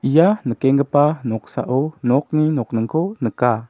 ia nikenggipa noksao nokni nokningko nika.